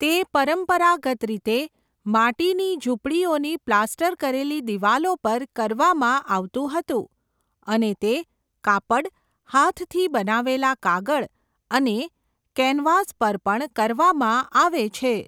તે પરંપરાગત રીતે માટીની ઝૂંપડીઓની પ્લાસ્ટર કરેલી દિવાલો પર કરવામાં આવતું હતું અને તે કાપડ, હાથથી બનાવેલા કાગળ અને કેનવાસ પર પણ કરવામાં આવે છે.